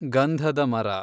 ಗಂಧಧ ಮರ